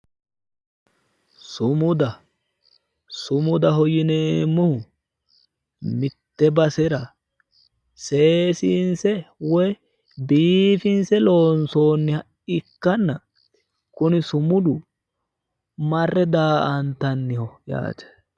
sumuda:- sumudaho yineemmohu mitte basera seesiinsse woyi biifinsse lonsoonniha ikanna kuni sumudu marre daa'antanniho yaate